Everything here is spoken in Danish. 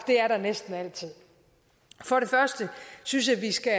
det er der næsten altid for det første synes jeg vi skal